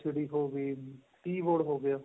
LCD keyboard ਹੋ ਗਿਆ